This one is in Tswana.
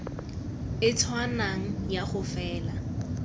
e tshwanang ya go faela